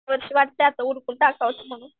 वर्ष वाटतंय आता उरकून टाकावंच म्हणून.